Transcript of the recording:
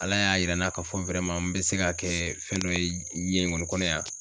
Ala y'a yira n na k'a fɔ n bɛ se ka kɛ fɛn dɔ ye diɲɛ in kɔni kɔnɔ yan.